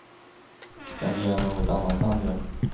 Det är mer än något annat land gör.